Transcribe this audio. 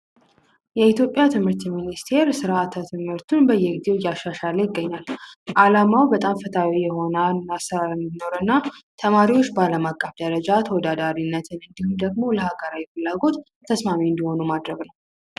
የኢትዮጵያ ትምህርት ሚኒስትር ስርዓተ ትምህርቱን በየጊዜው እያሻሻለ ይገኛል። አላማው በጣም ፈትሀዊ የሆነ አሰራር እንዲኖር እና ተማሪዎች በአለም አቀፍ ደረጃ ተወዳዳሪነትን እንዲሁም ደግሞ ለገራዊ ፍላጎት ተስማሚ እንዲሆኑ ማድረግ ነው።